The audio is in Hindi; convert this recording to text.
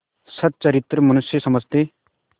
सच्चरित्र मनुष्य समझते